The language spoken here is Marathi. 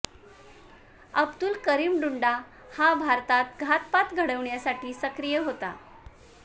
अब्दुल करीम टुंडा हा भारतात घातपात घडविण्यासाठी सक्रिय होता